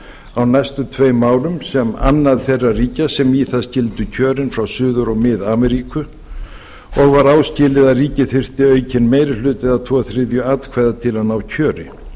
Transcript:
á næstu tveim árum sem annað þeirra ríkja sem í það skyldu kjörin frá suður og frið ameríku og var áskilið að ríkið þyrfti aukinn meiri hluta eða tveir þriðju atkvæða til að ná kjöri